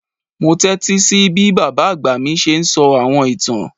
Mo tẹtísí bí bábá àgbà mí ṣe ń sọ àwọn ìtán.